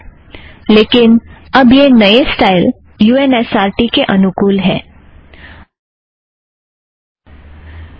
लेकिन अब यह नए style U N S R T के अनुकुल होगा